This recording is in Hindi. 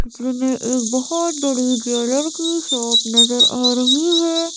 जिन्हें एक बहोत बड़ी ज्वेलर की शॉप नजर आ रही है।